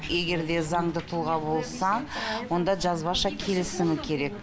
егер де заңды тұлға болса онда жазбаша келісімі керек